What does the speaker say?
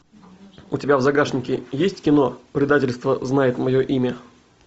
у тебя в загашнике есть кино предательство знает мое имя